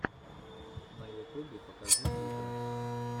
на ютубе покажи клипы